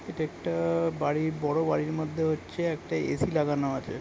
এটা একটা বড় বাড়ির মধ্যে হচ্ছে একটা এ.সি লাগানো আছে।